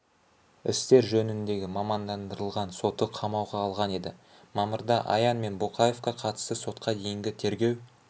істер жөніндегі мамандандырылған соты қамауға алған еді мамырда аян мен боқаевқа қатысты сотқа дейінгі тергеу